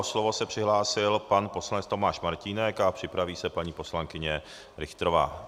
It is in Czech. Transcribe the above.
O slovo se přihlásil pan poslanec Tomáš Martínek a připraví se paní poslankyně Richterová.